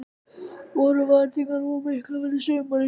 Voru væntingarnar of miklar fyrir sumarið?